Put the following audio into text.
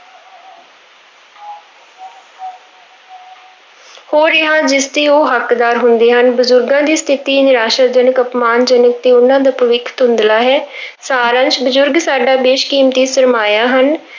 ਹੋ ਰਿਹਾ ਜਿਸਦੇ ਉਹ ਹੱਕਦਾਰ ਹੁੰਦੇ ਹਨ, ਬਜ਼ੁਰਗਾਂ ਦੀ ਸਥਿੱਤੀ ਨਿਰਾਸਾਜਨਕ, ਅਪਮਾਨਜਨਕ ਤੇ ਉਹਨਾਂ ਦਾ ਭਵਿੱਖ ਧੁੰਦਲਾ ਹੈ ਸਾਰ ਅੰਸ, ਬਜ਼ੁਰਗ ਸਾਡਾ ਬੇਸ਼-ਕੀਮਤੀ ਸ਼ਰਮਾਇਆ ਹਨ।